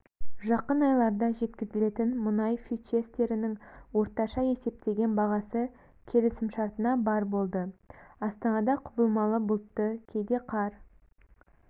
жақын айларда жеткізілетін мұнай фьючерстерінің орташа есептеген бағасы келісімшартына бар болды астанада құбылмалы бұлтты кейде қар